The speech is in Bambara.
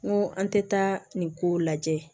N ko an tɛ taa nin kow lajɛ